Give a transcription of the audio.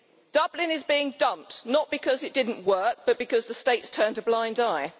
Dublin is being dumped, not because it did not work, but because the State has turned a blind eye.